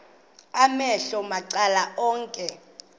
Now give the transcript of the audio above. amehlo macala onke